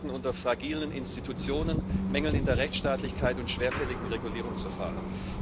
Beide leiden unter fragilen Institutionen, Mängeln bei der Rechtsstaatlichkeit und schwerfälligen Regulierungsverfahren.